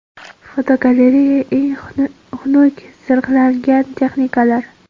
Fotogalereya: Eng xunuk zirhlangan texnikalar.